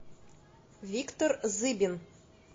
виктор зыбин